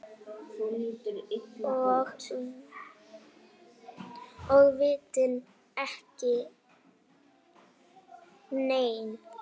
Og vitum ekki enn.